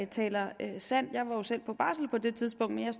taler sandt jeg var jo selv på barsel på det tidspunkt men jeg